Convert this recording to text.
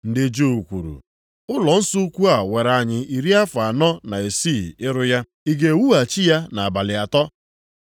Ndị Juu kwuru, “Ụlọnsọ ukwu a were anyị iri afọ anọ na isii ịrụ ya, ị ga-ewughachi ya nʼabalị atọ?”